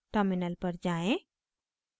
terminal पर जाएँ